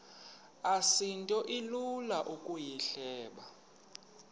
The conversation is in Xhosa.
asinto ilula ukuyihleba